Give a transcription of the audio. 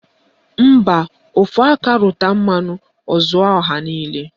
Mba, ofu aka rụta mmanụ o zuoro ọha niile